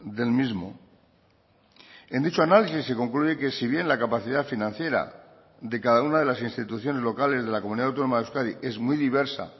del mismo en dicho análisis se concluye que si bien la capacidad financiera de cada una de las instituciones locales de la comunidad autónoma de euskadi es muy diversa